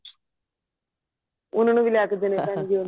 ਉਹਨਾਂ ਨੂੰ ਵੀ ਲੈ ਕੇ ਪੈਣਗੇ